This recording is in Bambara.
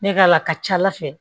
Ne ka la a ka ca ala fɛ